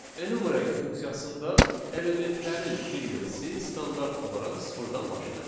Enumerate funksiyasında elementlərin indeksi standart olaraq sıfırdan başlayır.